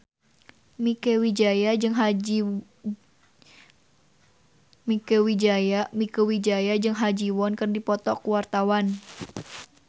Mieke Wijaya jeung Ha Ji Won keur dipoto ku wartawan